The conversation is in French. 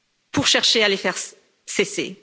pour chercher à les faire cesser.